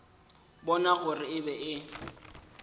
bona gore e be e